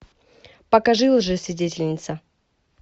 покажи лжесвидетельница